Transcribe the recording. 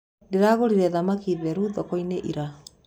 Ndĩragũrire thamaki theru thokoinĩ ira.